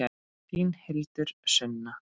Þín Hildur Sunna.